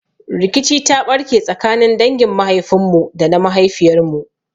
Rikici ta ɓarke tsakanin dangin mahaifin mu da na mahaifiyar mu.